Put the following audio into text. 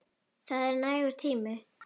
Það er nægur tími.